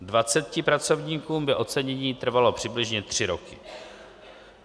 Dvaceti pracovníkům by ocenění trvalo přibližně 3 roky.